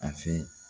A fɛ